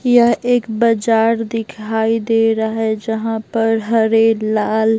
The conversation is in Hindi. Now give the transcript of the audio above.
यह एक बाजार दिखाई दे रहा है जहां पर हरे लाल --